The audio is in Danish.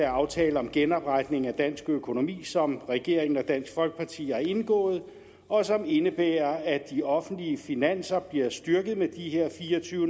aftale om genopretning af dansk økonomi som regeringen og dansk folkeparti har indgået og som indebærer at de offentlige finanser bliver styrket med de her fire og tyve